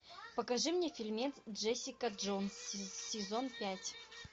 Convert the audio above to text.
покажи мне фильмец джессика джонс сезон пять